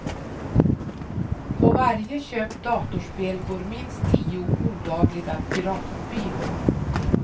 På varje köpt datorspel går minst tio olagliga piratkopior.